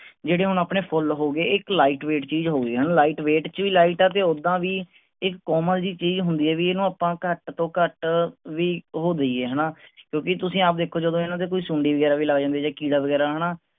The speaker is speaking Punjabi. ਜਿਹੜੇ ਹੁਣ ਆਪਣੇ ਫੁੱਲ ਹੋ ਗਏ ਇਹ light weight ਜੀਜ ਹੋ ਗਈ ਹੈਨਾ light weight ਚ light ਹੈ ਤੇ ਓਦਾਂ ਵੀ ਇੱਕ ਕੋਮਲ ਜੀ ਚੀਜ਼ ਹੁੰਦੀ ਆ ਵੀ ਇਹਨੂੰ ਆਪਾਂ ਘਟ ਤੋਂ ਘਟ ਵੀ ਉਹ ਦਇਏ ਹੈਨਾ ਕਿਉਂਕਿ ਤੁਸੀਂ ਆਪ ਦੇਖੋ ਜਦੋਂ ਇਹਨਾਂ ਤੇ ਕੋਈ ਸੁੰਡੀ ਵਗੈਰਾ ਵੀ ਲੱਗ ਜਾਂਦੀ ਆ ਜਾਂ ਕੀੜਾ ਵਗੈਰਾ ਹੈਨਾ